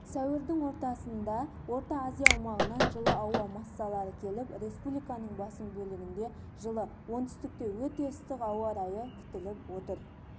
сәуірдің ортасында орта азия аумағынан жылы ауа массалары келіп республиканың басым бөлігінде жылы оңтүстікте өте ыстық ауа райы күтіліп отыр